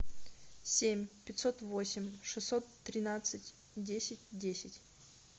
семь пятьсот восемь шестьсот тринадцать десять десять